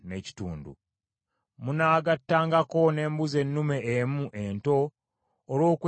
Munaagattangako n’embuzi ennume emu ento olw’okwetangiririza.